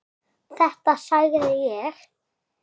Þetta sagði ég.